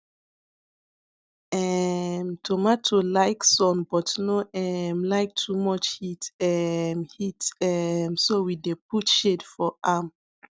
um tomato like sun but no um like too much heat um heat um so we dey put shade for am